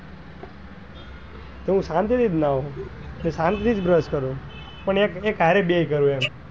તો હું શાંતિ થી જ નાઉ સંથી જ brush કરું પણ એક એક સાથે બે કરું એમ.